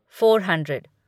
four hundred